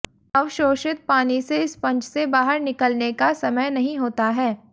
अवशोषित पानी में स्पंज से बाहर निकलने का समय नहीं होता है